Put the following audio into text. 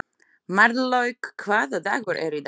Marlaug, hvaða dagur er í dag?